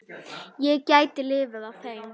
Ég gæti lifað á þeim.